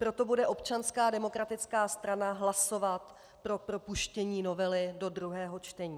Proto bude Občanská demokratická strana hlasovat pro propuštění novely do druhého čtení.